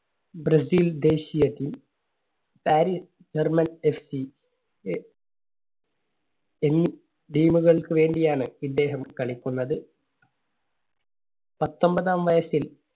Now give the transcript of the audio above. Brazil ദേശീയ Team, Paris German F C എ എന്നീ Team കൾക്ക് വേണ്ടി ആണ് ഇദ്ദേഹം കളിക്കുന്നത്. പത്തൊമ്പതാം വയസ്സിൽ